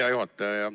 Hea juhataja!